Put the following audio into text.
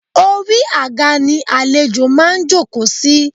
Orí àga ni àlejò máa ń jòkó sí